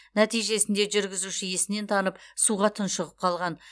нәтижесінде жүргізуші есінен танып суға тұншығып қалған